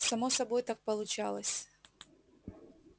само собой так получалось